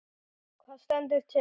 Hvað stendur til?